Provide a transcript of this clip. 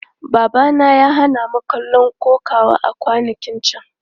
Babana ya hana mu kallon kokawa a kwanakin can.